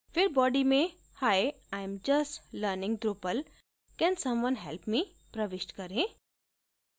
फिर body में hi im just learning drupal can someone help me प्रविष्ट करें